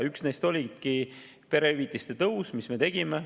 Üks neist oligi perehüvitiste tõus, mille me tegime.